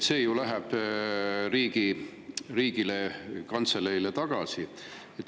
See ju läheb riigile, kantseleile tagasi.